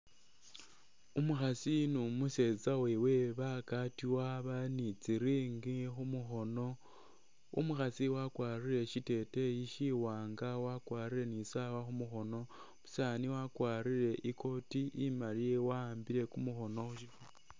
Umukhasi ni’umusetsa wewe bagatiwa bali nitsi ring khumukhono, umukhasi wakwarire shiteteyi shiwanga wakwarire ni isawa khumukhono , umusani wakwarire ikoti imali wa’ambille kumukhono